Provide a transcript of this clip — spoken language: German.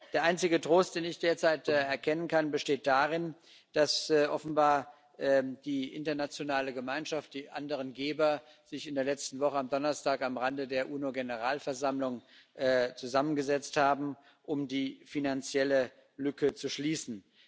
Der einzige Trost, den ich derzeit erkennen kann, besteht darin, dass offenbar die internationale Gemeinschaft, die anderen Geber sich in der letzten Woche am Donnerstag am Rande der UNO Generalversammlung zusammengesetzt haben, um die finanzielle Lücke zu schließen.